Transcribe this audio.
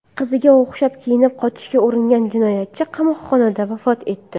Qiziga o‘xshab kiyinib qochishga uringan jinoyatchi qamoqxonada vafot etdi.